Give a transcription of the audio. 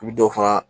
I bi dɔ fara